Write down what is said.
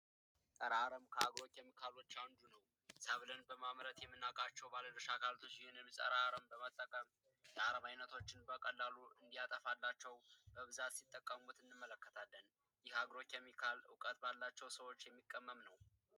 ጸረ አረም የተለያዩ ሰብሎችን በማምረት የምናውቃቸው የተለያዩ የሚመለከታቸው አካሎች ፀረ አረም የተለያዩ የአረሞችን እንዲያጠፋላቸው በብዛት ሲጠቀሙበት እንመለከታለን ይህ አግሮ ኬሚካል እውቀት ባላቸው ሰዎች የሚቀመም ነው።